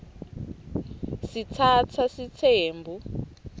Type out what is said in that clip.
sitsatsa sitsembu